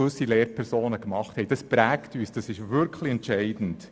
Diese Lehrpersonen prägen uns entscheidend.